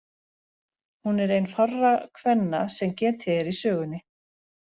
Hún er ein fárra kvenna sem getið er í sögunni.